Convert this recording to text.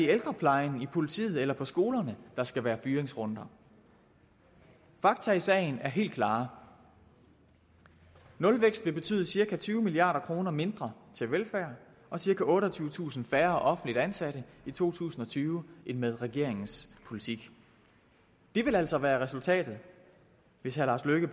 ældreplejen i politiet eller på skolerne der skal være fyringsrunder fakta i sagen er helt klare nulvækst vil betyde cirka tyve milliard kroner mindre til velfærd og cirka otteogtyvetusind færre offentligt ansatte i to tusind og tyve end med regeringens politik det vil altså være resultatet hvis herre lars løkke